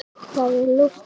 Það er ljóst hér.